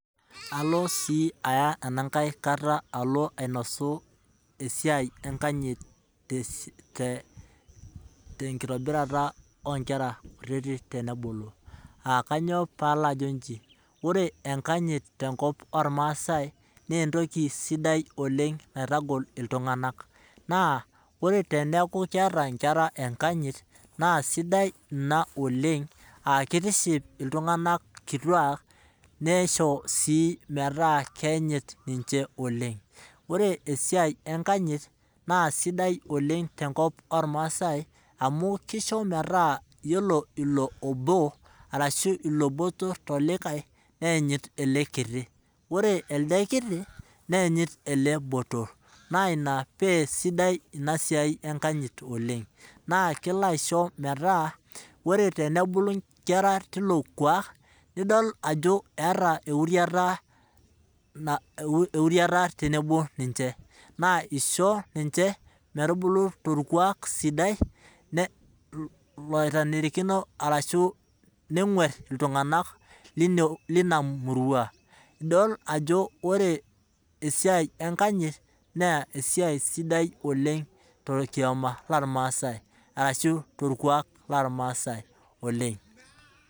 Alo sii aya enankae kata alo ainosu esiai enakanyit tenkitobirata oonkera kututik tenebulu. aakainyoo pee alo ajo inji, ore enakanyit tenkop ormaasai naa entoki sidai oleng naitagol iltunganak. naa ore teneku keeta inkera enkanyit naa keisidai ina oleng ,keitiship iltunganak kituak neishoyo sii metaa keyanyit ninche oleng .ore esiai enakanyit naa sidai oleng tenkop irmasai amu keisho metaa yiolo ilo obo motor tolikae nayanyit ele kiti ore elde kiti nayanyit ele botor, naa ina paa sidai ina siai enkanyit oleng ,naakelo aisho metaa ore tenebulu nkera tilo kuak nidol ajo eeta euriata tenebo ninche ,naa isho ninche metubulu torkuak sidai laanarikino orashu neinguar iltunganak lina murua ,idol ajo ore esiai enkanyit naa esiai sidai oleng torkioma lormasai orashua torkuak lormasai oleng.